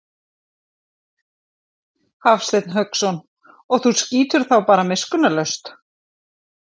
Hafsteinn Hauksson: Og þú skýtur þá bara miskunnarlaust?